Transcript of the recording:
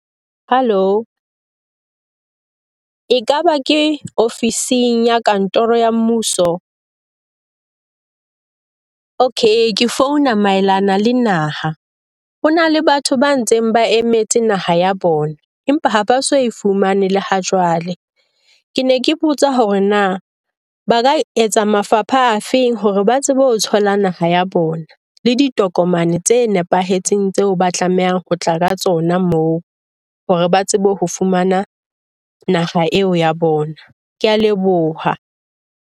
Hello, ekaba ke ofising ya kantoro ya mmuso? Okay. Ke founa maelana le naha. Ho na le batho ba ntseng ba emetse naha ya bona, empa ha ba so fumane le ha jwale. Ke ne ke botsa hore na ba ka etsa mafapha a feng hore ba tsebe ho thola naha ya bona, le ditokomane tse nepahetseng tseo ba tlamehang ho tla ka tsona moo. Hore ba tsebe ho fumana naha eo ya bona. Ke a leboha.